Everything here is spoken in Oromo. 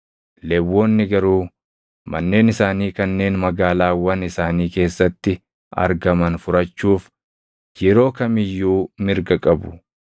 “ ‘Lewwonni garuu manneen isaanii kanneen magaalaawwan isaanii keessatti argaman furachuuf yeroo kam iyyuu mirga qabu.